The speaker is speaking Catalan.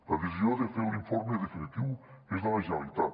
la decisió de fer l’informe definitiu és de la generalitat